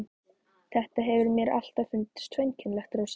Þetta hefur mér alltaf fundist svo einkennilegt, Rósa.